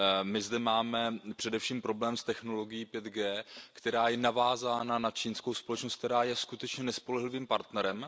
My zde máme především problém s technologií 5G, která je navázána na čínskou společnost, která je skutečně nespolehlivým partnerem.